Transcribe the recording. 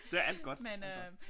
Det er alt godt alt godt